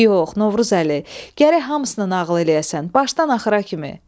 Yox, Novruzəli, gərək hamısından ağıl eləyəsən, başdan axıra kimi.